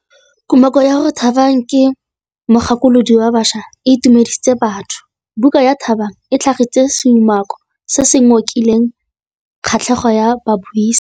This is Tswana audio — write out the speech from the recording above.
Kumakô ya gore Thabang ke mogakolodi wa baša e itumedisitse batho. Buka ya Thabang e tlhagitse seumakô se se ngokileng kgatlhegô ya babuisi.